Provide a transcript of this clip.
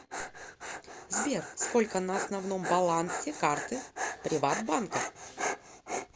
сбер сколько на основном балансе карты приват банка